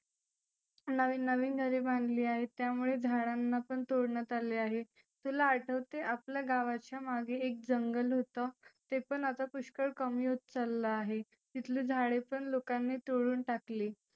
नविन नविन घरे बांधली आहे. त्यामुळे झाडांना पण तोडण्यात आले आहे. तुला आठवते आपल्या गावाच्या मागे एक जंगल होतं. ते पण आता पुष्कळ कमी होत चाललं आहे. तिथंली झाडेपण लोकांनी तोडुन टाकली.